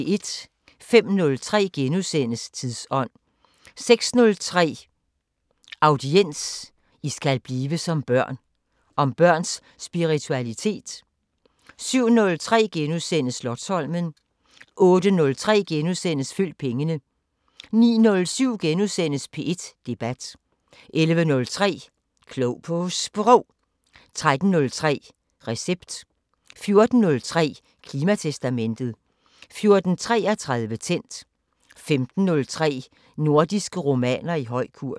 05:03: Tidsånd * 06:03: Audiens: "I skal blive som børn..." – om børns spiritualitet 07:03: Slotsholmen * 08:03: Følg pengene * 09:07: P1 Debat * 11:03: Klog på Sprog 13:03: Recept 14:03: Klimatestamentet 14:33: Tændt 15:03: Nordiske romaner i høj kurs